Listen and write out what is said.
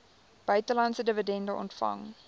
buitelandse dividende ontvang